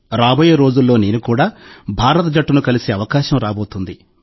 రాబోయే రోజుల్లో నేను కూడా భారత జట్టును కలిసే అవకాశం రాబోతోంది